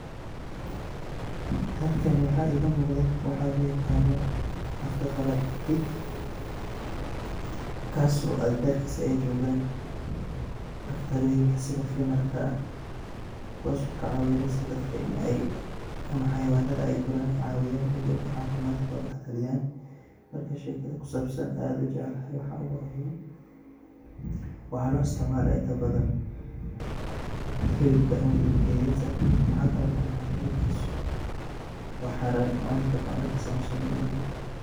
Halkan waxa igamuqda waxa loyaqano afka qalad pig kaas oo agagarkisa ey jogan daqtaroyin sida fidnarka ah kuwaso kacawineyso dadka in ey ama xayawanadka ey cawiyan oo ey cafimadkoda kataliyan marka shekada kusabsan oo an aad ujeclahay waxa waye waxa loisticmala inta badan hilibka. Waxa kale kunacay hilibkisu wa xaran oo macuni karno anaga sida muslimin unahay.